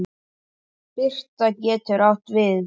Birta getur átt við